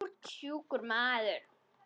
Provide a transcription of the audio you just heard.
Þú ert sjúkur maður.